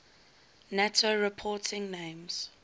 nato reporting names